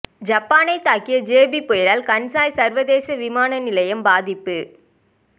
ஜப்பானை தாக்கிய ஜெபி புயலால் கன்சாய் சர்வதேச விமான நிலையம் பாதிப்பு